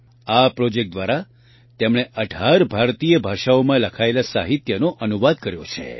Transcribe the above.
આ પ્રોજેક્ટ દ્વારા તેમણે ૧૮ ભારતીય ભાષાઓમાં લખાયેલા સાહિત્યનો અનુવાદ કર્યો છે